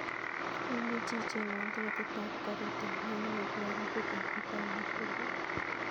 Imuchi ichengwon tiketit ap karit ap maat newendi nairobi betut ap mashujaa